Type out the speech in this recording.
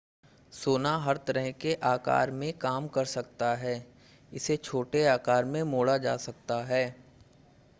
सोना हर तरह के आकार में काम कर सकता है इसे छोटे आकार में मोड़ा जा सकता है